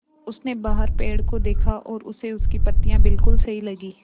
उसने बाहर पेड़ को देखा और उसे उसकी पत्तियाँ बिलकुल सही लगीं